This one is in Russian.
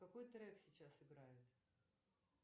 какой трек сейчас играет